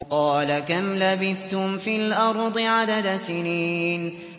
قَالَ كَمْ لَبِثْتُمْ فِي الْأَرْضِ عَدَدَ سِنِينَ